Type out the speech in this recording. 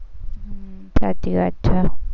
સાચી વાત છે.